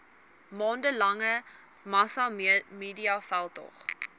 maande lange massamediaveldtog